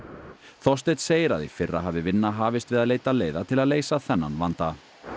Þorsteinn segir að í fyrra hafi vinna hafist við að leita leiða til að leysa þennan vanda